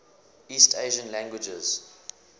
east asian languages